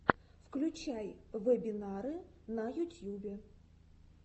включай вебинары на ютьюбе